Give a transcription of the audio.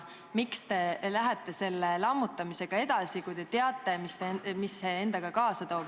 Miks te lähete selle lammutamisega edasi, kui te teate, mis see endaga kaasa toob?